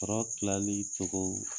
Tɔɔrɔ tilali togo